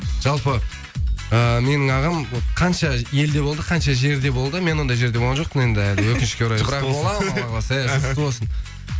жалпы э менің ағам вот қанша елде болды қанша жерде болды мен ондай жерде болған жоқпын енді әлі өкінішке қарай бірақ болам алла қаласа ия жұғысты болсын